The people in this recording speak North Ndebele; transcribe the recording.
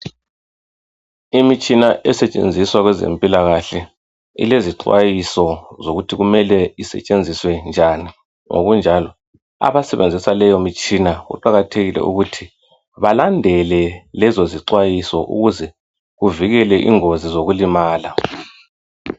Imitshina esetshenziswa kwezempilakahle .Ilezi xwayiso zokuthi kumele isetshenziswe njani .Ngokunjalo abasebenzisa leyo mitshina kuqakathekile ukuthi balandele lezo izixwayiso ukuze kuvikele ingozi zokulimala .